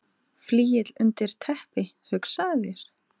Flygill undir teppi, hugsaðu þér!